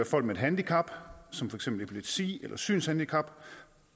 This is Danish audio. folk med et handicap som for eksempel epilepsi eller et synshandicap